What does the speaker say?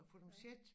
Og få dem set